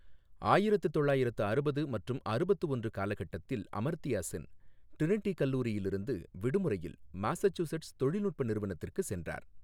ஆயிரத்து தொள்ளாயிரத்து அறுபது மற்றும் அறுபத்து ஒன்று காலகட்டத்தில், அமர்த்யாசென், ட்ரினிட்டி கல்லூரியில் இருந்து விடுமுறையில் மாசசூசெட்ஸ் தொழில்நுட்ப நிறுவனத்திற்கு சென்றார்.